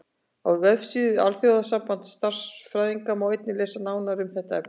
Á vefsíðu Alþjóðasambands stjarnfræðinga má einnig lesa nánar um þetta efni.